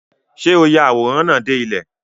Ṣé o ya àwòrán náà dé ilẹ̀?